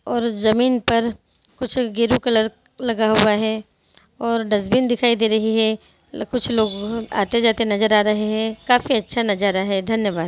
और जमीन पर कुछ गैरु कलर लगा हुआ है और डस्ट्बिन दिखाई दे रही है| कुछ लोग आते-जाते दिखाई दे रहे हैं काफी अच्छा नज़ारा है धन्यवाद!